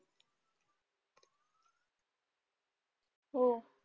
हो.